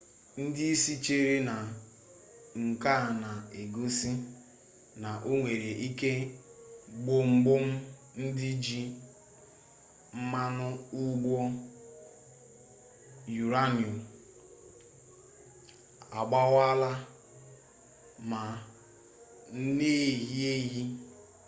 ndị isi chere na nke a na-egosi na o nwere ike gbọmgbọm ndị ji mmanụ ụgbọ yurenium agbawaala ma na-ehi ehi